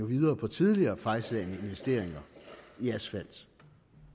videre på tidligere fejlslagne investeringer i asfalt